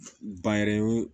Ba yɛrɛ ye